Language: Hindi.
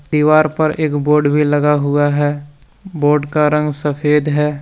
दीवार पर एक बोर्ड भी लगा हुआ है बोर्ड का रंग सफेद है।